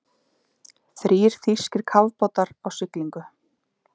Þrír þýskir kafbátar á siglingu.